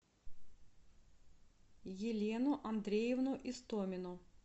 елену андреевну истомину